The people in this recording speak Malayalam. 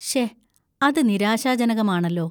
ശ്ശേ, അത് നിരാശാജനകമാണല്ലോ!